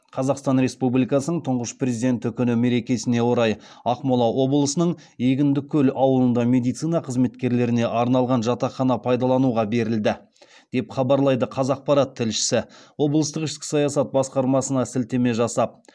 қазақстан республикасын тұңғыш президенті күні мерекесіне орай ақмола облысының егіндікөл ауылында медицина қызметкерлеріне арналған жатақхана пайдалануға берілді деп хабарлайды қазақпарат тілшісі облыстық ішкі саясат басқармасына сілтеме жасап